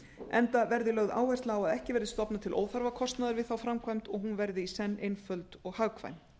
enda verði lögð áhersla á að ekki verði stofnað til óþarfa kostnaðar við þá framkvæmd og á verði í senn einföld og hagkvæm